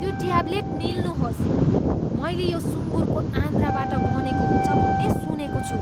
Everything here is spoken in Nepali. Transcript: त्यो ट्याब्लेट निल्नुहोस्। मैले यो सुँगुरको आन्द्राबाट बनेको हुन्छ भन्ने सुनेको छु।